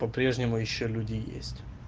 по-прежнему ещё люди есть